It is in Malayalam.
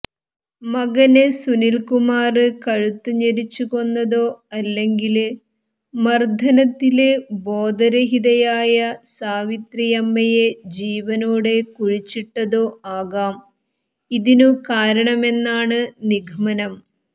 മകന് സുനില്കുമാര് കഴുത്ത് ഞെരിച്ചു കൊന്നതോ അല്ലെങ്കില് മര്ദനത്തില് ബോധരഹിതയായ സാവിത്രിയമ്മയെ ജീവനോടെ കുഴിച്ചിട്ടതോ ആകാം ഇതിനു കാരണമെന്നാണ് നിഗമനം